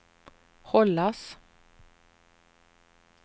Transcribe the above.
hållas